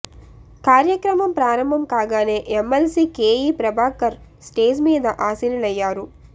కార్యక్రమం ప్రారంభం కాగానే ఎమ్మెల్సీ కేఈ ప్రభాకర్ స్టేజి మీద ఆశీనులయ్యారు